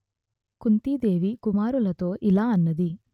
కుంతీ దేవి కుమారులతో ఇలా అన్నది